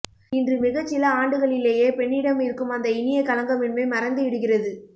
இன்று மிகச்சில ஆண்டுகளிலேயே பெண்ணிடம் இருக்கும் அந்த இனிய களங்கமின்மை மறைந்துவிடுகிறது